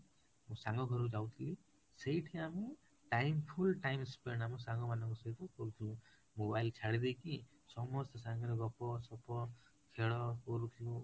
ମୁଁ ସାଙ୍ଗ ଘରକୁ ଯାଉଥିଲି ସେଇଠି ଆମେ time full time spend ଆମ ସାଙ୍ଗ ମାନଙ୍କ ସହିତ କରୁଥିଲୁ mobile ଛାଡିଦେଇକି ସମସ୍ତେ ସାଙ୍ଗରେ ଗପ ସପ ଖେଳ କରୁଥିଲୁ